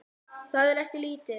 Það er ekki lítið.